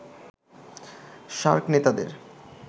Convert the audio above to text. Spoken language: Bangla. সার্ক নেতাদের